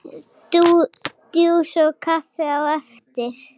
Djús og kaffi á eftir.